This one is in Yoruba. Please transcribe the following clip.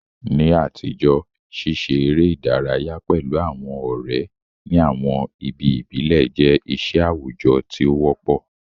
Ní àtijọ́, ṣíṣe eré ìdárayá pẹ̀lú àwọn ọ̀rẹ́ ní àwọn ibi ìbílẹ̀ jẹ́ iṣẹ́ àwùjọ tí ó wọ́pọ̀.